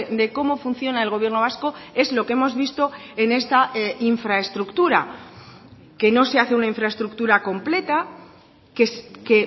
de cómo funciona el gobierno vasco es lo que hemos visto en esta infraestructura que no se hace una infraestructura completa que